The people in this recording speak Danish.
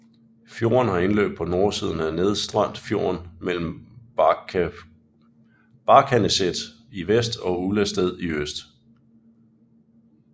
Fjorden har indløb på nordsiden af Nedstrandfjorden mellem Barkaneset i vest og Ullestad i øst